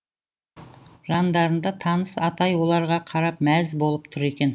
жандарында таныс атай оларға қарап мәз болып тұр екен